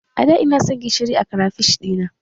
A da ina san gishiri a krafish ɗina